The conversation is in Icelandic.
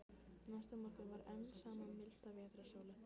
Næsta morgun var enn sama milda vetrarsólin.